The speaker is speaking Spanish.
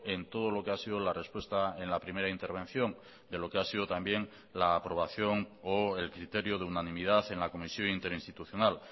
en todo lo que ha sido la respuesta en la primera intervención de lo que ha sido también la aprobación o el criterio de unanimidad en la comisión interinstitucional